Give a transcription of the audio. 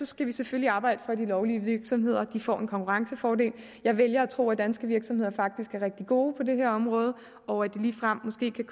skal vi selvfølgelig arbejde for at de lovlige virksomheder får en konkurrencefordel jeg vælger at tro at danske virksomheder faktisk er rigtig gode på det her område og at det ligefrem måske kan